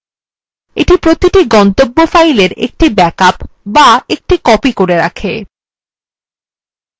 এই প্রতিটি গন্তব্য file একটি ব্যাকআপ করে তোলে